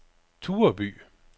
Tureby